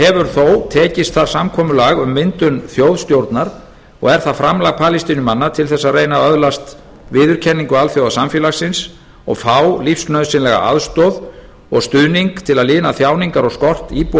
hefur þó tekist þar samkomulag um myndun þjóðstjórnar og er það framlag palestínumanna til þess að reyna að öðlast viðurkenningu alþjóðasamfélagsins og fá lífsnauðsynlega aðstoð og stuðning til að lina þjáningar og skort íbúa